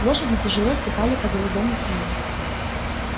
лошади тяжело ступали по глубокому снегу